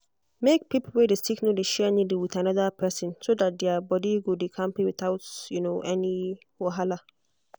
make people wey dey sick no dey share needle with another person so that their body go dey kampe without any wahala.